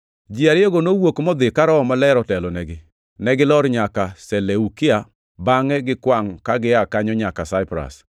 Ji ariyogo nowuok modhi ka Roho Maler otelonegi. Ne gilor nyaka Seleukia, bangʼe gikwangʼ ka gia kanyo nyaka Saipras.